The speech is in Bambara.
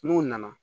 N'u nana